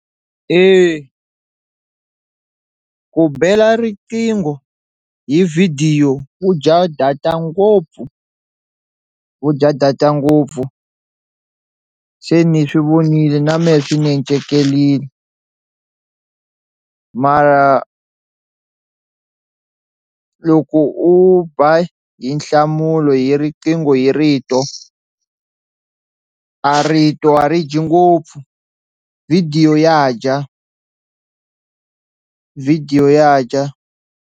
Eya ku bela riqingho hi vhidiyo wu dya data ngopfu wu dya data ngopfu se ni swi vonile na mehe swi ni encekerini mara loko u ba hi nhlamulo hi riqingho hi rito a rito a ri dyi ngopfu video ya dya video ya dya.